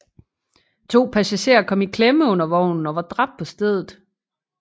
To passagerer kom i klemme under vognen og var dræbt på stedet